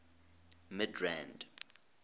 midrand